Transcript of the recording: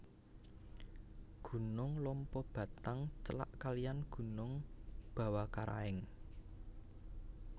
Gunung Lompobattang celak kaliyan Gunung Bawakaraeng